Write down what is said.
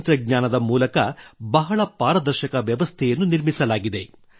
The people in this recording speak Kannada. ತಂತ್ರಜ್ಞಾನದ ಮೂಲಕ ಬಹಳ ಪಾರದರ್ಶಕ ವ್ಯವಸ್ಥೆಯನ್ನು ನಿರ್ಮಿಸಲಾಗಿದೆ